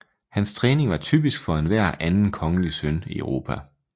Hans træning var typisk for enhver anden kongelig søn i Europa